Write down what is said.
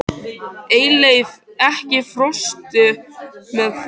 Eyleif, ekki fórstu með þeim?